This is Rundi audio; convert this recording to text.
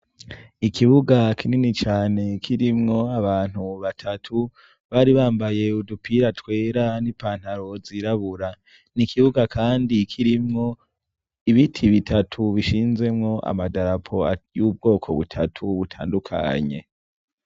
Ikibuga kinini cane kirimwo abantu batatu, bari bambaye udupira twera, n’ipantaro zirabura, n’ikibuga Kandi kirimwo ibiti bitatu bishinzemwo amadarapo y’ubwoko butatu butandukanye.